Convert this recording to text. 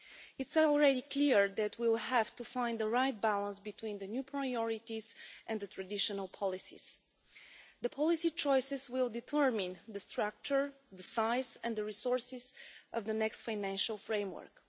It is already clear that we will have to find the right balance between the new priorities and the traditional policies. The policy choices will determine the structure, the size and the resources of the next financial framework.